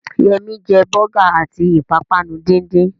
Yẹmí jẹ bọ́gà àti ìpápánu díndín